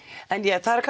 það eru